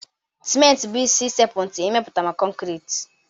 Simenti bụ isi sekpu ntị n'imeputa kọnkriiti.